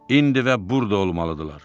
İndi və burda olmalıdırlar.